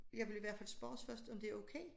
Jeg vil i hvert fald spørges først om det er okay